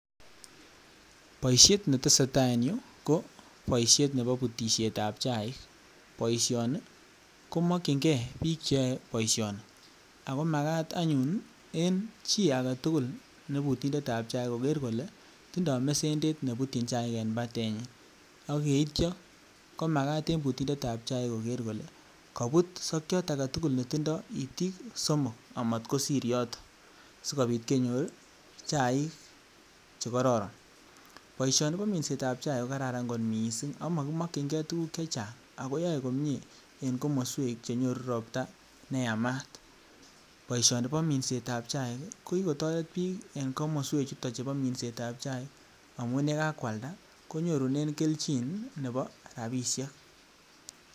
Boishet netesetaa en yuu ko boishet neboo butishetab chaik, boishoni komokying'ee biik cheyoe boishoni, akomakat anyun en chii aketukul nebutindetab chaik koker kolee tindoo mesendet nebutyin chaik en batenyin, ak yeityo komakat en butindet ab chaik kokeer kolee kobut sokiot aketukul netindo itiik somok amot kosir yotok sikobit kenyor chaik chekororon, boishoni koo minsetab chaik kokararan kot mising ak mokimokying'e tukuk chechang, akoo yoee komiee en komoswek chenyoruu robtaa neyamat, boishoni bo mensetab chaik kokikotoret biik en komoswek chuto chebo minsetab chaik amun yekakwalda konyorunen kelchin neboo rabishek.